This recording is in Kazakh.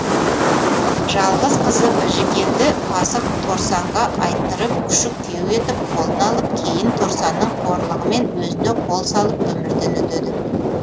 жалғыз қызы біжікенді пасық торсанға айттырып күшік күйеу етіп қолына алып кейін торсанның қорлығымен өзіне қол салып өмірден өтеді